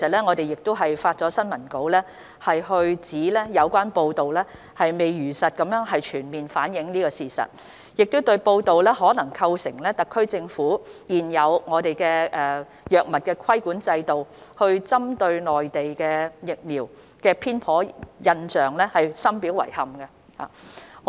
我們已發出新聞稿，指有關報道未有如實全面反映事實，可能構成特區現有藥物規管制度針對內地疫苗的偏頗印象，我們對此深表遺憾。